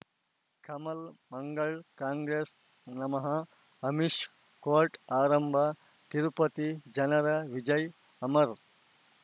ಕಮಲ್ ಮಂಗಳ್ ಕಾಂಗ್ರೆಸ್ ನಮಃ ಅಮಿಷ್ ಕೋರ್ಟ್ ಆರಂಭ ತಿರುಪತಿ ಜನರ ವಿಜಯ ಅಮರ್